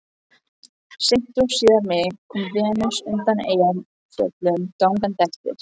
Seint og síðar meir kom Venus undan Eyjafjöllum gangandi eftir